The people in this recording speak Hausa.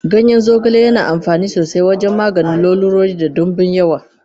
Ganyen zogale yana amfani sosai wajen maganin lalurori da dimbin yawa